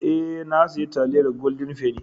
Eh, na siya taliyar "golden penny".